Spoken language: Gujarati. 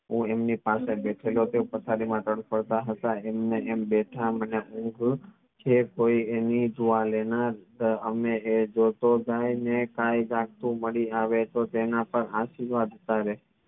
હું એમની સાથે બેઠેલો તે પથરી માં તરફડતા હતા એમ ને એમ બાથ અને ઊંઘ છે કોઈ એની સહમે એ જોતો જાય ને કાઇ માડી આવે તો તેના આશીર્વાદ